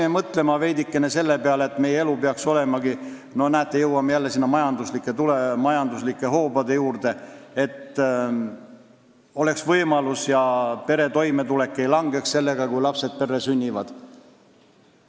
Ehk peaksime veidike mõtlema selle peale, et meie elu oleks turvalisem – näete, jõuame jälle majanduslike hoobade juurde –, et peredel oleks võimalusi ja nende toimetulek ei langeks, kui lapsed perre sünnivad.